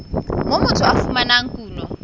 moo motho a fumanang kuno